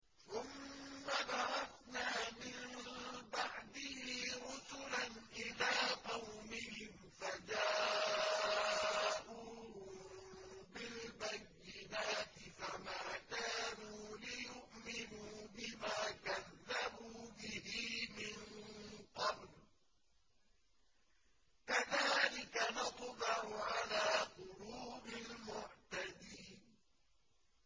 ثُمَّ بَعَثْنَا مِن بَعْدِهِ رُسُلًا إِلَىٰ قَوْمِهِمْ فَجَاءُوهُم بِالْبَيِّنَاتِ فَمَا كَانُوا لِيُؤْمِنُوا بِمَا كَذَّبُوا بِهِ مِن قَبْلُ ۚ كَذَٰلِكَ نَطْبَعُ عَلَىٰ قُلُوبِ الْمُعْتَدِينَ